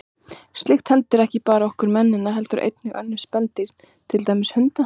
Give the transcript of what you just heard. Slíkt hendir ekki bara okkur mennina heldur einnig önnur spendýr, til dæmis hunda.